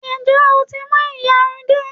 Ǹjẹ́ o tí mú ìyarun dé?